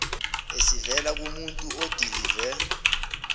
esivela kumuntu odilive